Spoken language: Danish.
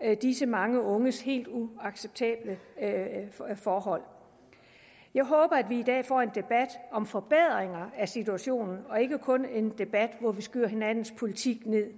af disse mange unges helt uacceptable forhold jeg håber at vi i dag får en debat om forbedringer af situationen og ikke kun en debat hvor vi skyder hinandens politik ned